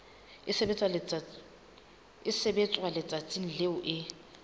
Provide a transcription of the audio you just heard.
e sebetswa letsatsing leo e